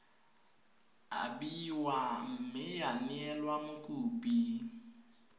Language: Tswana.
abiwa mme ya neelwa mokopi